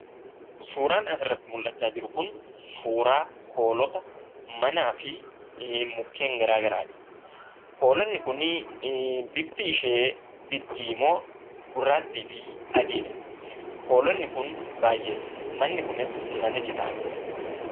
Suuraan asirratti mul'achaa jiru kun suuraa hoolota, manaa fi mukkeen garaa garaadha. Hoolonni kunii bifti ishee diddiimoo, gurraattii fi adiidha. Hoolonni kun baay'eedha. Manni kunis mana citaadha.